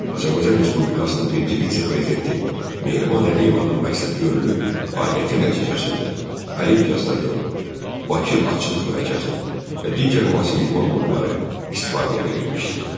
Azərbaycan Respublikasının birinci vitse-prezidenti Mehriban Əliyevanın məqsədyönlü fəaliyyəti nəticəsində Olimpiya stadionu, Bakı Atçılıq mərkəzi və digər müasir idman qurğuları istifadəyə verilmişdir.